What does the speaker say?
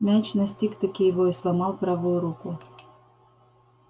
мяч настиг-таки его и сломал правую руку